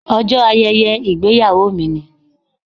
Ọjọ́ ayẹyẹ ìgbéyàwó mi ni.